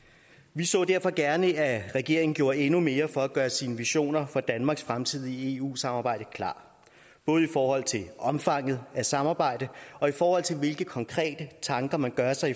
vi så derfor gerne at regeringen gjorde endnu mere for at gøre sine versioner for danmarks fremtidige eu samarbejde klare både i forhold til omfanget af samarbejdet og i forhold til hvilke konkrete tanker man gør sig